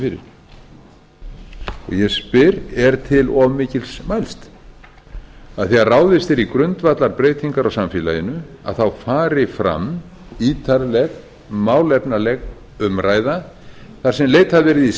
fyrir ég spyr er til of mikils mælst að þegar ráðist er í grundvallarbreytingar á samfélaginu fari fram ítarleg málefnaleg umræða þar sem leitað verði í